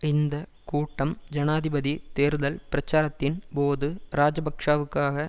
இந்த கூட்டம் ஜனாதிபதி தேர்தல் பிரச்சாரத்தின் போது இராஜபக்ஷவுக்காக